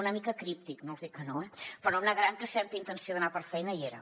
una mica críptic no els dic que no eh però no em negaran que certa intenció d’anar per feina hi era